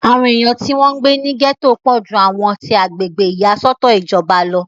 àwọn èèyàn tí wọ́n ń gbé ní gẹ̀tò pọ̀ ju àwọn ti agbègbè ìyàsọ́tọ̀ ìjọba lọ